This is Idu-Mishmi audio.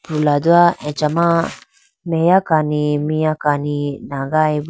prulado achama meya kani miya kani nagayiboo.